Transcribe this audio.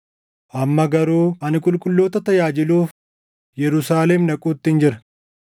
Amma garuu ani qulqulloota tajaajiluuf Yerusaalem dhaquuttin jira.